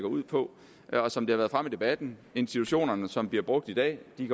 ud på og som det har været fremme i debatten institutionerne som bliver brugt i dag